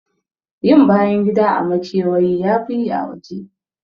Yin bayan gida a makewayi yafi yi a waje.